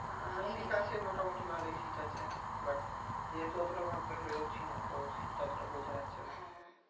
শীত আছে মোটামুটি ভালোই শীত আছে but যেহেতু অতটা ঘর থেকে বেরোচ্ছিনা তো শীত টা অতটা বোঝা যাচ্ছে না